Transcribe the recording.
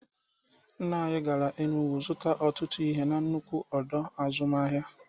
Nna anyị gara Enugwu zụta ọtụtụ ihe na-nnukwu ọdọ azụmahịa.